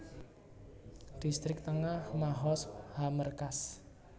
Distrik Tengah Mahoz HaMerkaz